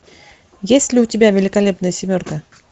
есть ли у тебя великолепная семерка